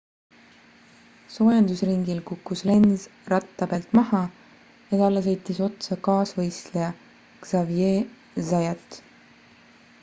soojendusringil kukkus lenz ratta pealt maha ja talle sõitis otsa kaasvõistleja xavier zayat